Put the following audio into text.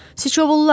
Sıçovullar!